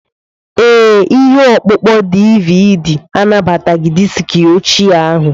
Ee, ihe ọkpụkpọ DVD anabataghị diski ochie ahụ.